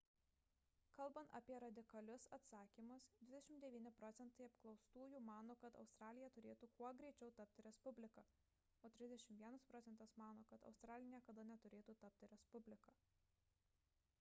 kalbant apie radikalius atsakymus 29 procentai apklaustųjų mano kad australija turėtų kuo greičiau tapti respublika o 31 procentas mano kad australija niekada neturėtų tapti respublika